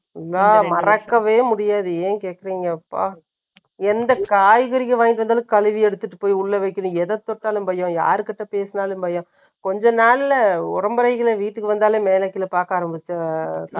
என்னால, மறக்கவே முடியாது. ஏன் கேட்கறீங்கப்பா? எந்த காய்கறிக்கு, வாங்கிட்டு வந்தாலும், கழுவி எடுத்துட்டு போய், உள்ள வைக்கணும். எத தொட்டாலும், பயம். யாருகிட்ட பேசினாலும் பயம். கொஞ்ச நாள்ல வீட்டுக்கு வந்தாலே, மேல கீழே பார்க்க ஆரம்பிச்சு